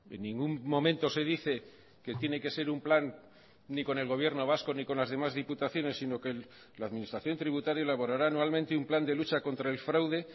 en ningún momento se dice que tiene que ser un plan ni con el gobierno vasco ni con las demás diputaciones sino que la administración tributaria elaborará anualmente un plan de lucha contra el fraude